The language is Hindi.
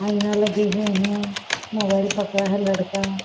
आइना लगे हुए है मोबाइल पकड़ा है लड़का --